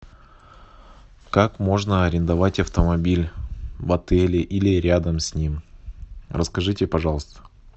как можно арендовать автомобиль в отеле или рядом с ним расскажите пожалуйста